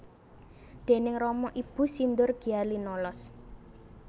Déning rama ibu sindur gya linolos